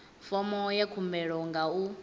fomo ya khumbelo nga u